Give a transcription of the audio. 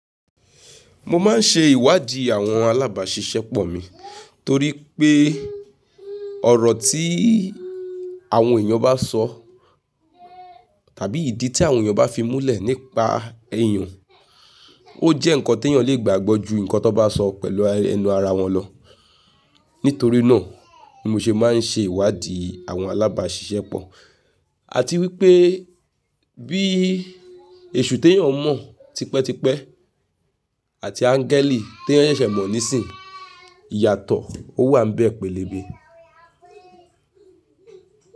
Mo máa ń ṣe ìwádìí àwọn alábàáṣiṣẹ́pọ̀ mi torí pé ọ̀rọ̀ tí àwọn èèyàn bá sọ tàbí ìdí tí àwọn èèyàn bá fi múlẹ̀ nípa ẹ̀yàn, ó jẹ́ nǹkan tí èèyàn lè gbàgbọ́ ju nǹkan tó bá sọ pẹ̀lú ẹnu ara wọn lọ. Nítorí náà ni mo ṣe máa ń ṣe ìwádìí àwọn alábàáṣiṣẹ́pọ̀ àti wípé bí èṣù tí èèyàn mọ̀ tipẹ́tipẹ́ àti ańgẹ́lì té èèyàn ṣẹ̀ sè mọ̀ nísìíyì iyàtọ̀, ó wà níbẹ̀ pẹ́lẹ́bẹ́